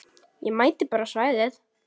Ég mæti bara á svæðið.